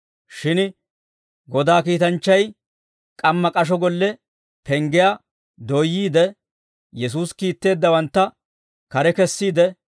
Shin Godaa kiitanchchay k'amma k'asho golle penggiyaa dooyyiide, Yesuusi kiitteeddawantta kare kessiide,